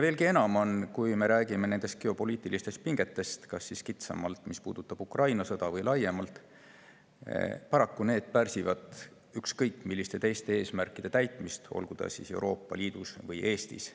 Veelgi enam, kui me räägime geopoliitilistest pingetest – kas kitsamalt, mis puudutab Ukraina sõda, või laiemalt –, siis paraku need pärsivad ükskõik milliste teiste eesmärkide täitmist, olgu siis Euroopa Liidus või Eestis.